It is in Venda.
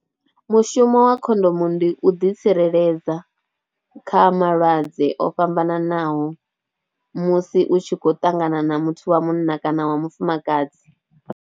Mushumo wa khondomo ndi u ḓitsireledza kha malwadze o fhambananaho musi u tshi khou ṱangana na muthu wa munna kana wa mufumakadzi.